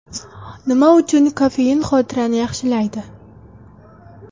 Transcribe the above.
Nima uchun kofein xotirani yaxshilaydi?.